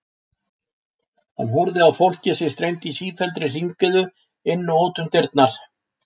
Hann horfði á fólkið sem streymdi í sífelldri hringiðu inn og út um dyrnar.